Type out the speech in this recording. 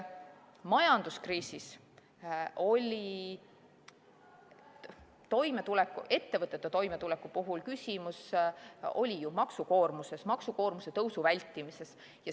Majanduskriisis oli ettevõtete toimetuleku puhul küsimus ju maksukoormuses, maksukoormuse tõusu vältimises.